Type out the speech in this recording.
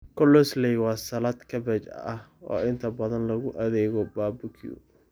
Coleslaw waa salad kaabaj oo inta badan lagu adeego barbecue.